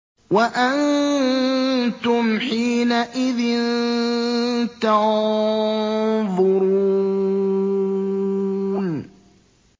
وَأَنتُمْ حِينَئِذٍ تَنظُرُونَ